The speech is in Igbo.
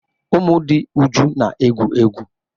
Ụmụ dị Uju na-egwu egwu.